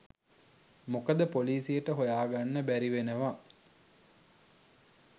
මොකද පොලීසියට හොයාගන්න බැරි වෙනවා